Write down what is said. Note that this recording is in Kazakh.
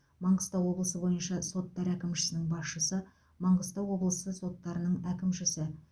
маңғыстау облысы бойынша соттар әкімшісінің басшысы маңғыстау облысы соттарының әкімшісі